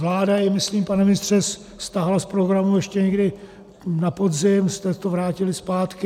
Vláda jej myslím, pane ministře, stáhla z programu, ještě někdy na podzim jste to vrátili zpátky.